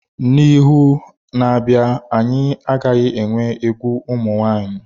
Na ihu na-abịa anyị agaghị enwe egwu ụmụ nwaanyị.